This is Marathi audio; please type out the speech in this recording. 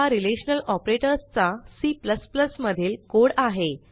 हा रिलेशनल ऑपरेटर्स चा C मधील कोड आहे